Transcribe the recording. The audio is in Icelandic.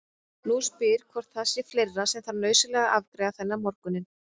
Nú spyr hún hvort það sé fleira sem þarf nauðsynlega að afgreiða þennan morguninn.